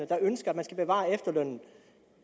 der ønsker at man skal bevare efterlønnen